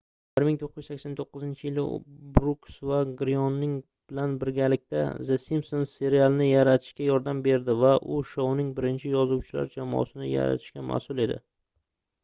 1989-yili u brooks va gryoning bilan birgalikda the simpsons serialini yaratishga yordam berdi va u shouning birinchi yozuvchilar jamoasini yaratishga masʼul edi